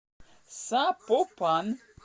сапопан